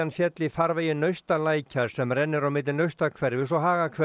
féll í farvegi Naustalækjar sem rennur á milli Naustahverfis og